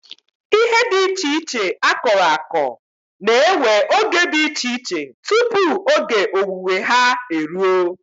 Ihe dị iche iche akọrọ akọ na-ewe oge dị iche iche tupu oge owuwe ha eruo.